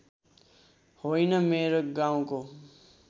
होइन मेरो गाउँको